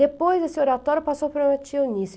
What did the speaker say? Depois desse oratório passou para a minha tia Eunice.